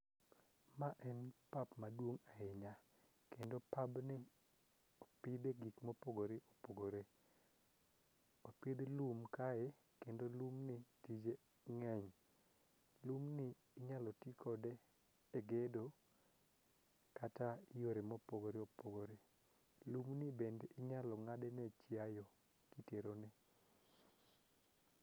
Ma en pap maduong' ahinya kendo pabni opidhe gik mopogore opogore. Opidh lum kae kendo lumni tije ng'eny. Lumni inyalo tikode e gedo kata i yore mopogore opogore. Lumni bende inyalo ng'adne chiayo titerone.